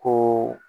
Ko